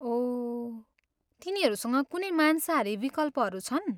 ओह, तिनीहरूसँग कुनै मांसाहारी विकल्पहरू छन्?